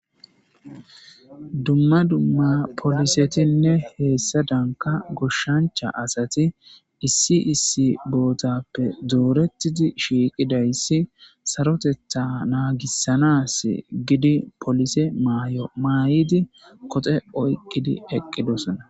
Dumma dumma polissetinne heyessanicha asati issi issi boththappe doreththidi shiqqidayisi sarotteta naggisanas gidi polisse mayuwa mayiddi qoxxe oyikidi eqqidosona.